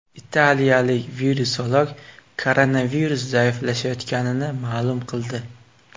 Italiyalik virusolog koronavirus zaiflashayotganini ma’lum qildi.